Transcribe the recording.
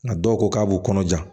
Nka dɔw ko k'a b'u kɔnɔ ja